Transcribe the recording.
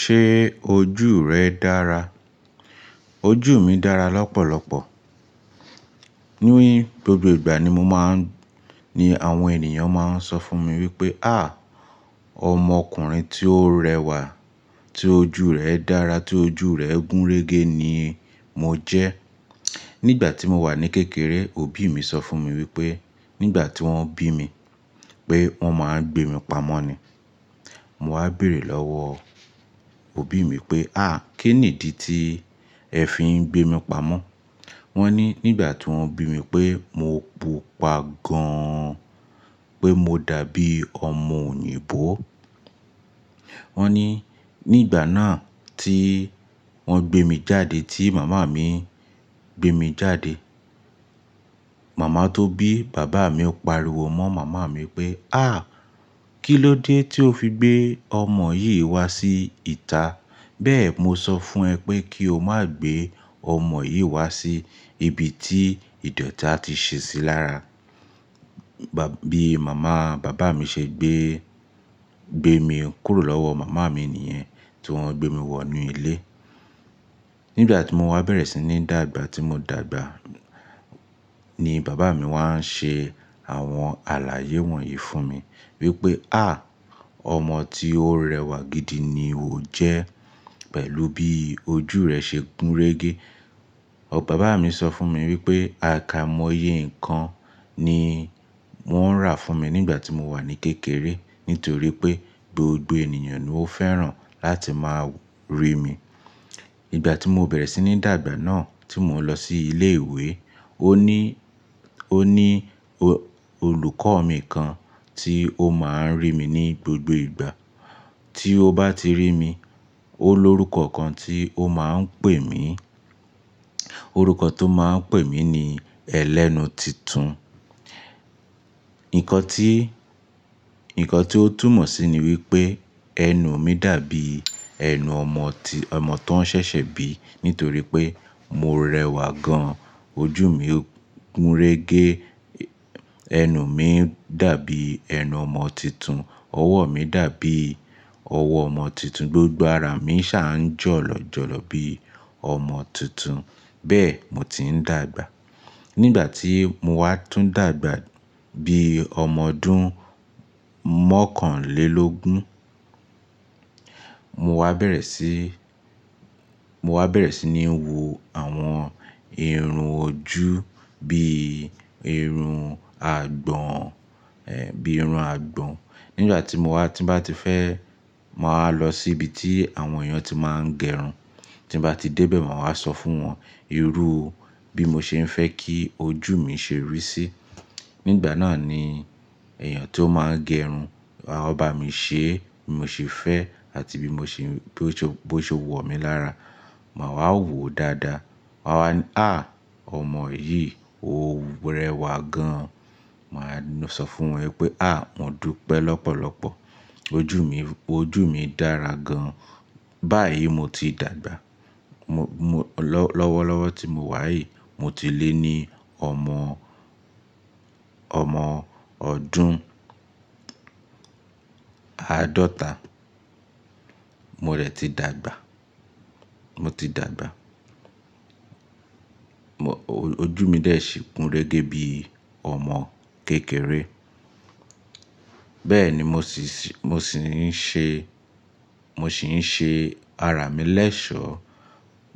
Ṣé ojú rẹ dára? Ojú mi dára lọ́pọ̀lọpọ̀. Ní gbogbo ìgbà ni mo máa ń, ní àwọn ènìyàn máa ń sọ fún mi wípé, "à, ọmọkùnrin tí ó rẹwà, tí ojú rẹ̀ dára, tí ojú rẹ̀ gúnrégé ni mo jẹ́." Nígbà tí mo wà ní kékeré, òbí mi sọ fún mi wípé nígbà tí wọ́n bí mi pé wọ́n máa ń gbemí pamọ́ ni. Mo wá béèrè lọ́wọ́ òbí mi pé, "à, kín nídi ti ẹ fi ń gbemí pamọ́?" Wọ́n ní nígbà tí wọ́n bí mi pé mo pupa gan-an, pé mo dàbí ọmọ òyìnbó. Wọ́n ní nígbà náà tí wọ́n gbé mi jáde, tí màmá mi gbé mi jáde, màmá tó bí, bàbá mi ó pariwo mọ́ màmá mi pé, "à, kí ló dé tí o fi gbé ọmọ yìí wá sí ìta? Bẹ́ẹ̀ mo sọ fún ẹ pé kí o má gbé ọmọ yìí wá sí ibi tí ìdọ̀ti a ti ṣe sí lára." Ba, bí màmá bàbá mi ṣe gbé, gbé mi kúrò lọ́wọ́ màmá mi nìyẹn tí wọ́n gbé mi wọ inú ilé. Nígbà tí mo wá bẹ̀rẹ̀ sí ní dàgbà, tí mo dàgbà ni bàbá mi wá ń ṣe àwọn àlàyé wọ̀nyí fún mi wípé, "à, ọmọ tí ó rẹwà gidi ni o jẹ́ pẹ̀lú bí ojú rẹ ṣe gúnrégé." bàbá mi sọ fún mi wípé àkàimọ́yé nǹkan ni wọ́n rà fún mi nígbà tí mo wà ní kékeré nítorí pé gbogbo ènìyàn ni ó fẹ́ràn láti máa rí mi. Nígbà tí mo bẹ̀rẹ̀ sí ní dàgbà náà tí mo lọ sí ilé ìwé, ó ní, ó ní olùkọ́ mi kan tí ó máa ń rí mi ní gbogbo ìgbà. Tí ó bá ti rí mi, ó ní orúkọ kan tí ó máa ń pè mí. Orúkọ tó máa ń pè mí ni "Ẹlẹ́nu Titun." Ǹkọ tí, ǹkan tí ó túmọ̀ sí ni wípé ẹnu mi dàbí ẹnu ọmọ tí, ọmọ tó ń ṣẹ̀ṣẹ̀ bí nítorí pé mo rẹwà gan-an, ojú mi gúnrégé, ẹnu mi dàbí ẹnu ọmọ titun, ọwọ́ mi dàbí ọwọ́ ọmọ titun, gbogbo ara mi ṣà ń jọ̀lọ̀ jọ̀lọ̀ bí ọmọ titun. Bẹ́ẹ̀ mo ti ń dàgbà. Nígbà tí mo wá tún dàgbà bí ọmọ ọdún mọ́kànlélógún, mo wá bẹ̀rẹ̀ sí, mo wá bẹ̀rẹ̀ sí ní wo àwọn irun ojú bí irun àgbọ̀n, bí irun àgbọ̀n. Nígbà tí mo wá, tí bá ti fẹ́, màá wa lọ sí ibi tí àwọn èèyàn tí máa ń gẹrun. Tí bá ti dé bẹ̀ wọ́n máa sọ fún wọn irú bí mo ṣe ń fẹ́ kí ojú mi ṣe rí sí. Nígbà náà ni èèyàn tó máa ń gẹrun á bá mi ṣe bí mo ṣe fẹ́ àti bí mo ṣe, bó ṣe, bó ṣe wọ̀ mí lára. Màá wá wo dáadáa. Màá wá ní, "à, ọmọ yìí ó rẹwà gan-an." Màá sọ fún wọn wípé, "à, wọn dúpẹ́ lọ́pọ̀lọpọ̀. Ojú mi, ojú mi dára gan-an." Báyìí mo ti dàgbà. Mo, mo lọ́-lọ́wọ́lọ́wọ́ tí mo wà yìí mo ti lé ní ọmọ, ọmọ ọdún àádọ́ta. Mo de ti dàgbà. Mo ti dàgbà. Mo, oju mi dè ṣi kúnrégé bí ọmọ kékeré. Bẹ́ẹ̀ ni mo sì ṣè, mo sì ń ṣe, mo sì ń ṣe ara mi lẹ́ṣọ̀.